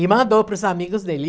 E mandou para os amigos dele.